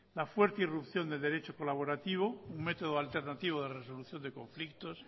la fuerte irrupción del derecho colaborativo un método alternativo de resolución de conflictos